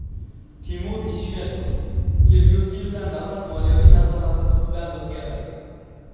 Timur Ishmetov: Kelgusi yildan davlat moliyaviy nazorati tubdan o‘zgaradi.